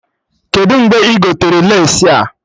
Kedụ mgbe ị gotere lace a?